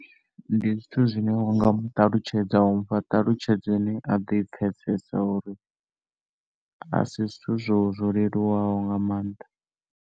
Ndi zwithu zwine wa nga mu ṱalutshedza, wa mufha ṱhalutshedzo ine a ḓo i pfesesa, uri a si zwithu zwo zwo leluwaho nga maanḓa.